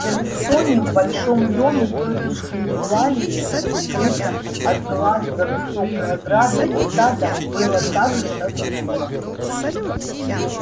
в чарльстоне в большом доме тётушки евлалии скрытом от глаз за высокой оградой и садом было так же тоскливо